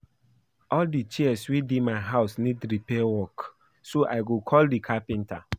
All the chairs wey dey my house need repair work so I go call the carpenter